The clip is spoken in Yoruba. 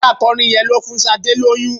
Ọ̀gá akọrin yẹn ló fún Sadé lóyún.